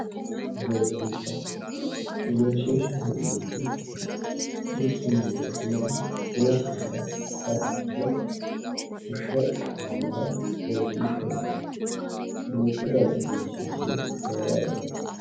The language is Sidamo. Egenshiishsha egenshiishshaho yinannihu mittu manchi afinoha afinokkihura kulaasincho fushshe xallannoha egenshiishshaho yinananni duuchu dani egenshiishshi heerara dandaanno